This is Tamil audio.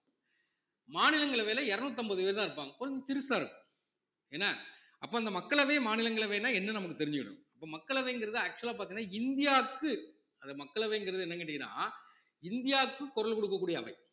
மாநிலங்களவையில இருநூத்தம்பது பேர் தான் இருப்பாங்க கொஞ்சம் சிறுசா இருக்கும் என்ன அப்ப அந்த மக்களவை, மாநிலங்களவைனா என்னன்னு நமக்கு தெரிஞ்சுக்கணும் அப்ப மக்களவைங்கிறது actual ஆ பாத்தீங்கன்னா இந்தியாக்கு அது மக்களவைங்கிறது என்னன்னு கேட்டீங்கன்னா இந்தியாவுக்கு குரல் கொடுக்கக் கூடிய அவை